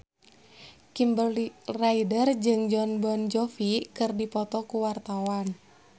Kimberly Ryder jeung Jon Bon Jovi keur dipoto ku wartawan